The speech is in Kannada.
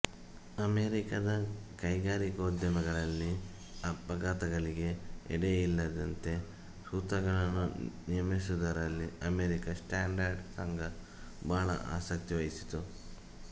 ಅಮೆರಿಕದ ಕೈಗಾರಿಕೋದ್ಯಮಗಳಲ್ಲಿ ಅಪಘಾತಗಳಿಗೆ ಎಡೆ ಇಲ್ಲದಂತೆ ಸೂತ್ರಗಳನ್ನು ನಿಯಮಿಸುವುದರಲ್ಲಿ ಅಮೆರಿಕ ಸ್ಟ್ಯಾಂಡರ್ಡ್ ಸಂಘ ಬಹಳ ಆಸಕ್ತಿ ವಹಿಸಿತು